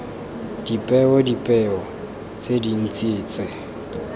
dipeo dipeo tse dintse tse